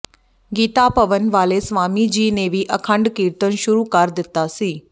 ਗੀਤਾ ਭਵਨ ਵਾਲੇ ਸਵਾਮੀ ਜੀ ਨੇ ਵੀ ਅਖੰਡ ਕੀਰਤਨ ਸ਼ੁਰੂ ਕਰ ਦਿੱਤਾ ਸੀ